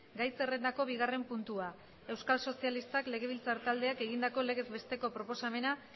gai zerrendako bigarren puntua euskal sozialistak legebiltzar taldeak egindako legez besteko proposamena